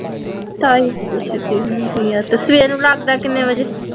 ਢਾਈ ਵਜੇ ਛੁੱਟੀ ਹੁੰਦੀ ਹੈ ਅਤੇ ਸਵੇਰੋਂ ਲੱਗਦਾ ਕਿੰਨੇ ਵਜੇ